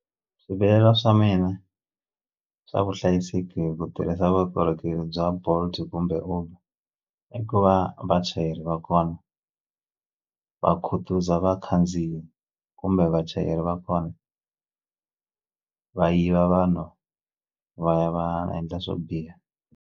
Swivilelo swa mina swa vuhlayiseki ku tirhisa vukorhokeri bya Bolt kumbe Uber i ku va vachayeri va kona va khutuza vakhandziyi kumbe vachayeri va kona va yiva vanhu va ya va endla swo biha.